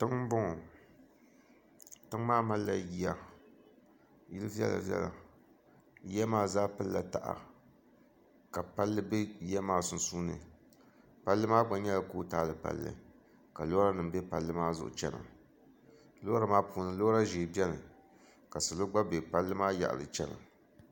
tiŋa m-bɔŋɔ tiŋa maa malila yiya yil' viɛla-viɛla yiya maa zaa pilila taha ka palli be yiya maa sunsuuni palli maa gba nyɛla koot-ali palli ka l-or----a be palli maa zuɣu --chana lora maa puuni lora maa puuni lora ʒɛhi gba beni ka sola gba be palli maa yaɣili --chana